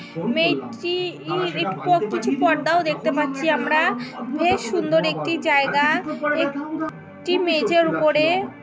মে্টটি-ই এর পর কিছু পর্দাও দেখতে পাচ্ছি আমরা বেশ সুন্দর একটি জায়গা এ-কটি মেঝের উপরে।